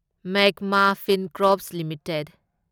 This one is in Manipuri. Magma Fincorp limited